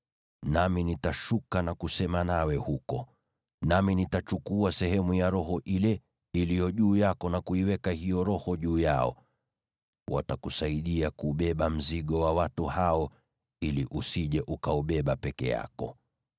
Nami nitashuka na kusema nawe huko. Nami nitachukua sehemu ya Roho iliyo juu yako na kuiweka juu yao. Watakusaidia kubeba mzigo wa watu hao ili usije ukaubeba peke yako.